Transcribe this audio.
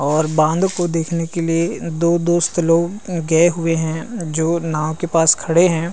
और बांध को देखने के लिए दो दोस्त लोग गए है जो नाव के पास खड़े है।